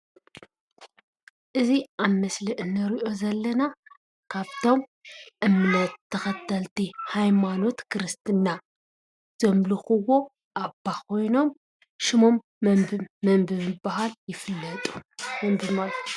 እዚ ኣብ ምስሊ እንሪኦ ዘለና ካፍቶም እምነት ተኸተልቲ ሃይማኖት ክርስትና ዘምልኽዎ ኣባ ኾይኖም ሽሞም መን ብምብሃል ይፍለጡ?